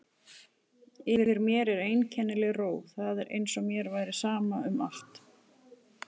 Yfir mér var einkennileg ró, það var eins og mér væri sama um allt.